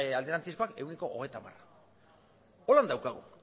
alderantzizkoak ehuneko hogeita hamara hola daukagu